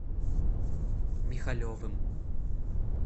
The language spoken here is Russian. михалевым